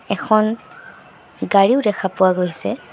এখন গাড়ীও দেখা পোৱা গৈছে।